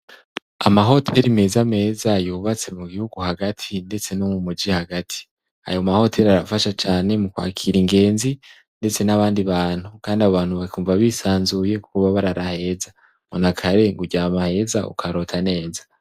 Amahoteri meza meza yubatse mu gihugu hagati ndetse no mu mugi hagati. Ayo mahoteri arafasha cane mu kwakira ingenzi ndetse n'abandi bantu, kandi abantu bakumva bisanzuye kuba barara heza nakare ngo urara heza ukarota neza.